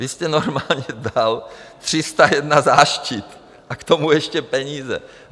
Vy jste normálně bral 301 záštit a k tomu ještě peníze.